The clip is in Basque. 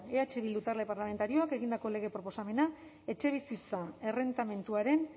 eh bildu talde parlamentarioak egindako lege proposamena etxebizitza errentamenduaren